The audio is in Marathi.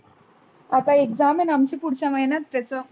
आता exam आहे ना आमची पुढच्या महिन्यात त्याच.